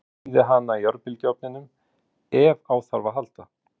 Ég þíði hana í örbylgjuofninum ef á þarf að halda.